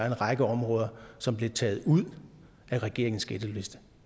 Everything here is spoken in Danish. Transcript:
en række områder som blev taget ud af regeringens ghettoliste